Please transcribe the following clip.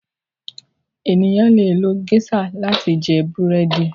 ènìyàn lẹ lo geisha láti jẹ Búrẹ́di